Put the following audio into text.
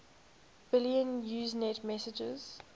billion usenet messages